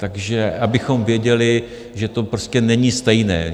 Takže abychom věděli, že to prostě není stejné.